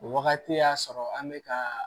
O wagati y'a sɔrɔ an bɛ ka